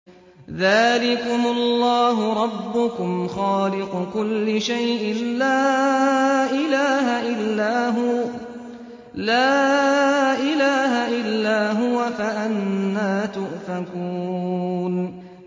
ذَٰلِكُمُ اللَّهُ رَبُّكُمْ خَالِقُ كُلِّ شَيْءٍ لَّا إِلَٰهَ إِلَّا هُوَ ۖ فَأَنَّىٰ تُؤْفَكُونَ